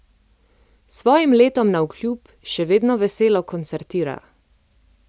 Svojim letom navkljub še vedno veselo koncertira.